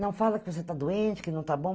Não fala que você está doente, que não está bom.